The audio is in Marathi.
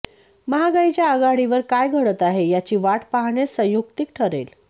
महागाईच्या आघाडीवर काय घडत आहे याची वाट पाहणेच संयुक्तिक ठरेल